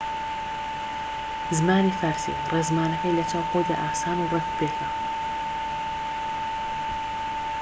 زمانی فارسی ڕێزمانەکەی لەچاو خۆیدا ئاسان و ڕێكوپێکە